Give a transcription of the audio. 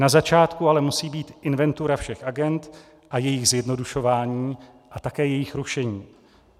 Na začátku ale musí být inventura všech agend a jejích zjednodušování a také jejich rušení.